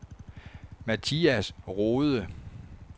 Mathias Rohde